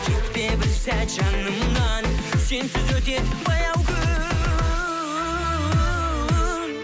кетпе бір сәт жанымнан сенсіз өтеді баяу күн